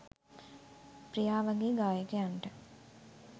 ප්‍රියා වගේ ගායකයන්ට